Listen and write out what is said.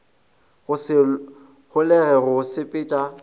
go se holege go sepetša